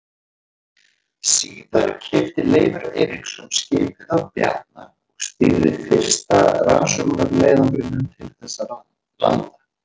Síðar keypti Leifur Eiríksson skipið af Bjarna og stýrði fyrsta rannsóknarleiðangrinum til þessara landa.